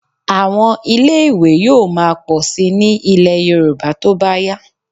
Àwọn ilé-ìwé yóò máa pọ̀ síi ní ilẹ̀ Yorùbá tó bá yá.